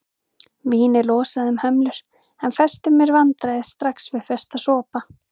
Vínið losaði um hömlur en festi mér vandræði strax við fyrsta sopa.